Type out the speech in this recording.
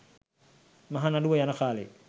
මහ නඩුව යන කාලෙ